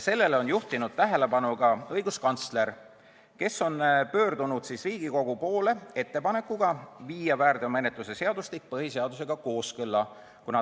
Sellele on juhtinud tähelepanu ka õiguskantsler, kes on pöördunud Riigikogu poole ettepanekuga viia väärteomenetluse seadustik põhiseadusega kooskõlla.